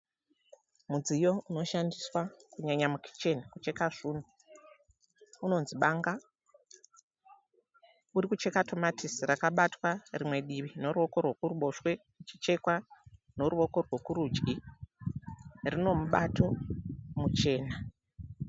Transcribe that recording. Mudziyo unoshandiswa kunyanya mukicheni kucheka zvunhu. Unonzi banga. Uri kucheka tamatisi rakabatwa rimwe divi neruwoko rwekuruboshwe richichekwa neruwoko rwekurudyi. Rino mubato muchena.